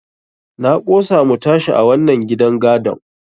Na ƙosa mu tashi a wannan gidan gadon.